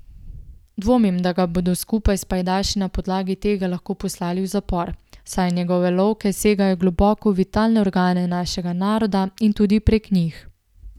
Dvomim, da ga bodo skupaj s pajdaši na podlagi tega lahko poslali v zapor, saj njegove lovke segajo globoko v vitalne organe našega naroda in tudi prek njih.